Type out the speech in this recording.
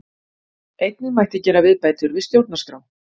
Einnig mætti gera viðbætur við stjórnarskrá